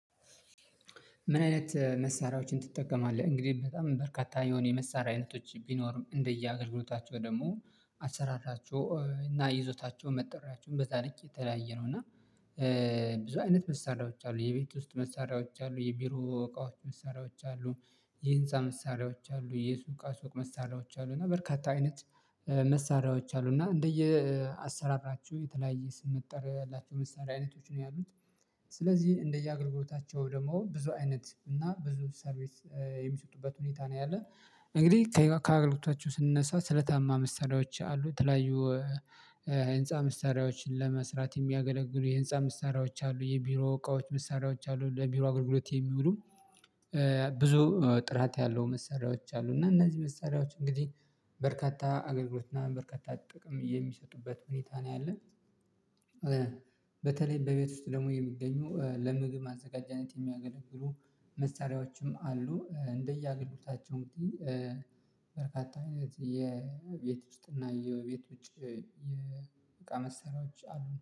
ምን አይነት መሳሪያዎችን ትጠቀማለህ? እንግዲህ በጣም በርካታ የሆነ የመሳሪያ አይነቶች ቢኖሩም እንደየ አገልግሎታቸው ደግሞ አሰራራቸው እና ይዞታቸው መጠሪያቸውን በዛ ልክ የተለያየ ነው። እና ብዙ አይነት መሳሪያዎች አሉ የቤት ውስጥ መሳሪያዎች አሉ የቢሮ እቃዎች መሳሪያዎች አሉ። የህንፃ መሳሪያዎች አሉ የሱቅ አሱቅ መሳሪያዎች አሉ እና በርካታ አይነት መሳሪያዎች አሉ እና እንደየ አሰራራችሁ የተለያየ ስም መጠሪያላችሁ መሳሪያ አይነቶች ነው ያሉት። ስለዚህ እንደየ አገልግሎታቸው ደግሞ ብዙ አይነት እና ብዙ ሰርቪስ የሚሰጡበት ሁኔታ ነው ያለን። እንግዲህ ከአገልግሎታችሁ ስንነሳ ስለታማ መሳሪዎች አሉ የተለያዩ ህንፃ መሳሪዎችን ለመስራት የሚያገለግሉ የህንፃ መሳሪዎች አሉ የቢሮ እቃዎች መሳሪያዎች አሉ ለቢሮ አገልግሎት የሚውሉ። ብዙ ጥራት ያለው መሰሪያዎች አሉ እና እነዚህ መሰሪያዎች እንግዲህ በርካታ አገልግሎት እና በርካታ ጥቅም የሚሰጡበት ሁኔታ ነው ያለን። በተለይ በቤት ውስጥ ደግሞ የሚገኙ ለምግብ ማዘጋጀነት የሚያገለግሉ መሳሪያዎችም አሉ እንደየ አገልግሎታቸው እንግዲህ በርካታ አይነት የቤት ውስጥ እና የቤት ውጭ የእቃ መሳሪዎች አሉ